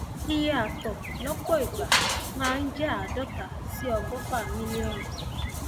iye àtọ lọpọ ìgbà máa ń jẹ àádọta sí ọgọfà mílíọnù